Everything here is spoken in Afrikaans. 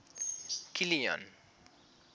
kilian